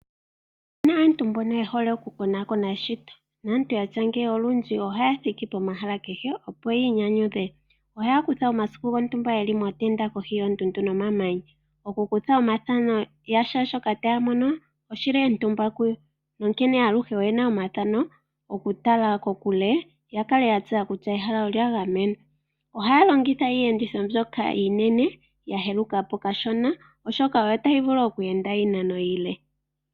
Opu na aantu mbono ye hole okukonaakona eshito naantu ya tya ngeyi olundji ohaya thiki pomahala kehe, opo yi inyanyudhe. Ohaya kutha omasiku gontumba ye li mootenda kohi yoondundu nomamanya. Okukutha omathano ga shaashoka taya mono oshi li etumba kuyo, onkene aluhe oye na omathano okutala kokule ya kale ya tseya kutya ehala olya gamenwa. Ohaya longitha iiyenditho mbyoka iinene ya yeluka po kashona, oshoka oyo tayi vulu oku enda iinano iile.